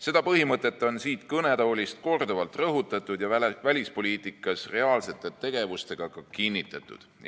Seda põhimõtet on siit kõnetoolist korduvalt rõhutatud ja välispoliitikas reaalsete tegevustega ka kinnitatud.